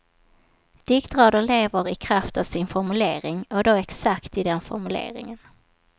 Diktrader lever i kraft av sin formulering, och då exakt i den formuleringen.